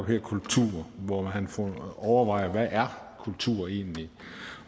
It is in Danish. hedder kultur hvor han overvejer hvad er kultur egentlig